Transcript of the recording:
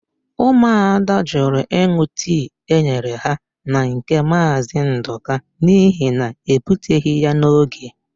Ụmụada jụrụ ịn̄ụ tii e nyere ha na nke Maazị Ndụka n'ihi na ebuteghị ya n'oge.